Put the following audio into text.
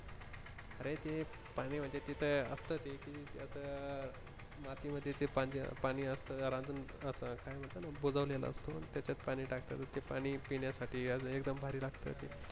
अरे ते पाणी म्हणजे तिथं असत ते कि आता माती मध्ये ते पाणी असत जरा रांजण असत आता बुजवलेला असत त्यांच्यात पाणी टाकतात ते पाणी पिण्या साठी अजून एकदम भारी लागत ते